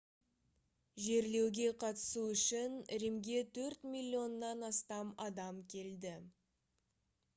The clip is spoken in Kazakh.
жерлеуге қатысу үшін римге төрт миллионнан астам адам келді